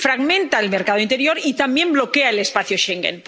fragmenta el mercado interior y también bloquea el espacio Schengen.